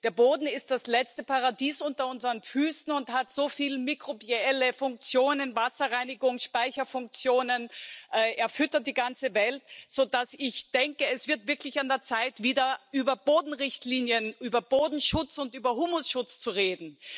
Der Boden ist das letzte Paradies unter unseren Füßen und hat so viel mikrobielle Funktionen Wasserreinigungs Speicherfunktionen, er füttert die ganze Welt, sodass ich denke, es wird wirklich an der Zeit, wieder über Bodenrichtlinien, über Bodenschutz und über Humusschutz zu reden.